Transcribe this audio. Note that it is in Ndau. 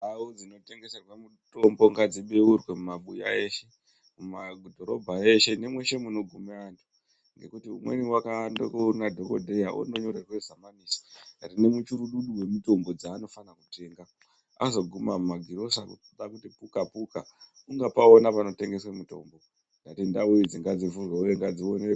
Ndau dzinotengeserwe mitombo ngadzibeurwe mumabuya eshe, mumadhorobha eshe , nemweshe munogume antu, ngekuti umweni wakaambe kundoone dhogodheya wondonyorerwe samanisi rine michurududu yemitombo yeanofane kutenga. Azoguma mumagirosa kuda kuti puka-puka ungapaona panotengeswa mitombo. Ndau idzi ngadzivhurwe uye ngadzionekwe.